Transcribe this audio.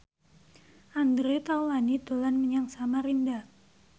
Andre Taulany dolan menyang Samarinda